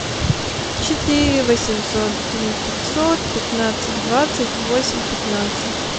четыре восемьсот три пятьсот пятнадцать двадцать восемь пятнадцать